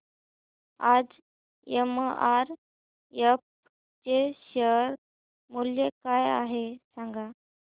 आज एमआरएफ चे शेअर मूल्य काय आहे सांगा